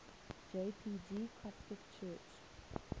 jpg coptic church